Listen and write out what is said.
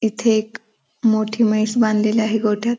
इथे एक मोठी म्हैस बांधलेली आहे गोठ्यात --